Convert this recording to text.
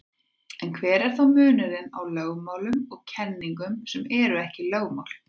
En hver er þá munurinn á lögmálum og kenningum sem ekki eru lögmál?